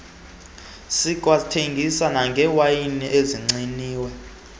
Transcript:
zikwathengisa nangewayini asagciniwe